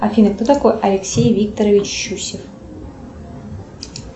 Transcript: афина кто такой алексей викторович щусев